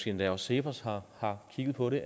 endda også cepos har har kigget på det